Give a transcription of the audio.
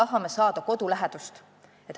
Kas me tahame kodu lähedust?